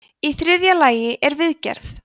í þriðja lagi er viðgerð